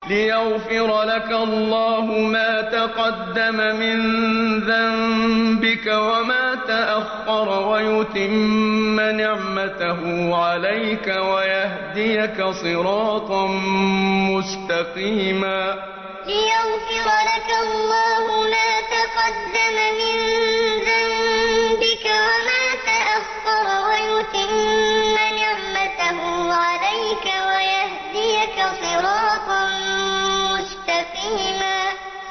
لِّيَغْفِرَ لَكَ اللَّهُ مَا تَقَدَّمَ مِن ذَنبِكَ وَمَا تَأَخَّرَ وَيُتِمَّ نِعْمَتَهُ عَلَيْكَ وَيَهْدِيَكَ صِرَاطًا مُّسْتَقِيمًا لِّيَغْفِرَ لَكَ اللَّهُ مَا تَقَدَّمَ مِن ذَنبِكَ وَمَا تَأَخَّرَ وَيُتِمَّ نِعْمَتَهُ عَلَيْكَ وَيَهْدِيَكَ صِرَاطًا مُّسْتَقِيمًا